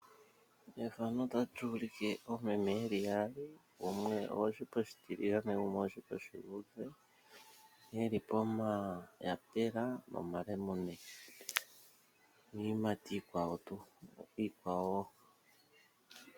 Efano otali ulike oomeme yeli yaali. Gumwe ogwoshipa oshitiligane gumwe ogwoshipa oshiluudhe yeli pomayapela nomalemune. Niiyimati iikwawo tuu.